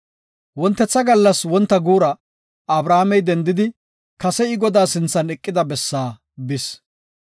Wontetha gallas wonta guura Abrahaamey dendidi kase I Godaa sinthan eqida bessaa bis.